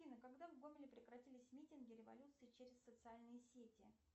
афина когда в гомеле прекратились митинги революции через социальные сети